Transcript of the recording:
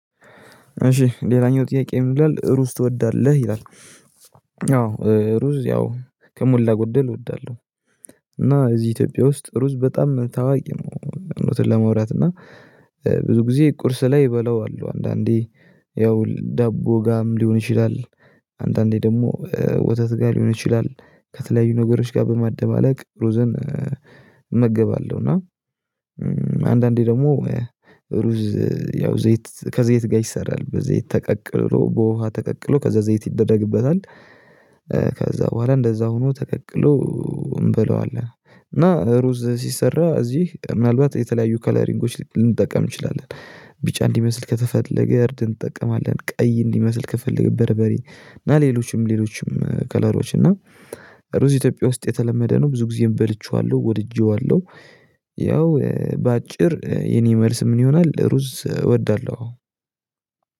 እሺ ሌላኛው ጥያቄ ምን ይላል ሩዝ ትወዳለህ? ይላል አዎ ሩዝ ያው ከሞላ ጎደል እወዳለሁ። እና እዚህ ኢትዮጵያ ውስጥ ሩዝ በጣም ታዋቂ ነው። እውነቱን ለማውራት እና ብዙ ጊዜ ቁርስ ላይ እበለዋለው አንዳንዴ ያው ዳቦ ጋም ሊሆን ይችላል። አንዳንዴ ደግሞ ወተት ጋር ሊሆን ይችላል። ከተለያዩ ነገሮች ጋር በማደባለቅ ሩዝን እመገባለሁ እና። አንዳንዴ ደግሞ ሩዝ ያው ዘይት ከዘይት ጋር ይሰራል በዘይት ተቀቅሎ በውሃ ተቀቅሎ ከዛ ዘይት ይደረግበታል። ከዛ በኋላ እንደዛ ሆኖ ተቀቅሎ እንበለዋለን። እና ሩዝ ሲሰራ እዚህ ምናልባት የተለያዩ ከለሪንጎች ልንጠቀም እንችላለን ቢጫ እንዲመስል ከተፈለገ እርድ እንጠቀማለን። ቀይ እንዲመስል ከፈለገን በርበሬ እና ሌሎችም ሌሎችም ከለሮች እና ሩዝ ኢትዮጵያ ውስጥ የተለመደ ነው ብዙ ጊዜም በልቼዋለሁ ወድጄዋለሁ። ያው በአጭር የኔ መልስ ምን ይሆናል ሩዝ እወዳለሁ።